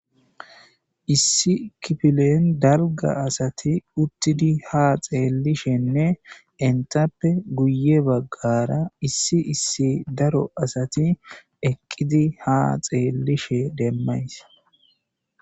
issi kipilen dalga asati uttidi ha xeellishenne entappe guye baggara issi issi daro asati eqqidi ha xeellishe demmays